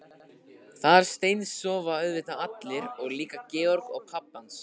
Þar steinsofa auðvitað allir og líka Georg og pabbi hans.